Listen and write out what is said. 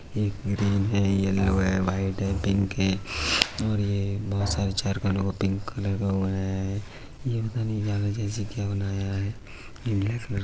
एक ग्रीन है येलो है वाइट है पिंक है और ये बोहोत सारे चार खानों का पिंक कलर का बनाया है। ये पता नहीं जैसा क्या बनाया है। ये ब्लैक कलर --